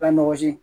Ka nɔgɔ si